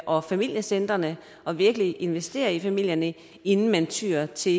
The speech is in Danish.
og familiecentrene og virkelig investerer i familierne inden man tyer til